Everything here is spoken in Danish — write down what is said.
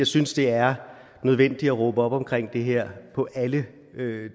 synes det er nødvendigt at råbe op om det her på alle